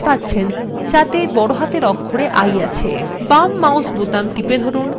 বাম mouse button টিপে ধরুন এবং টেনে এনে একটি আয়তক্ষেত্র আঁকুন